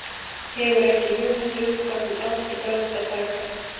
Hefur ekki hugmynd um hvað hún á til bragðs að taka.